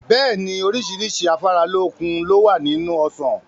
Bẹ́ẹ̀ni, oríṣiríṣi afáralókun lowa nínú Ọsàn.